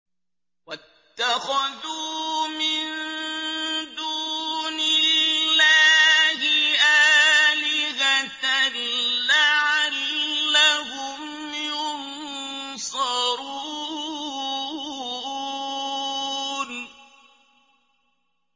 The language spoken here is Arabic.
وَاتَّخَذُوا مِن دُونِ اللَّهِ آلِهَةً لَّعَلَّهُمْ يُنصَرُونَ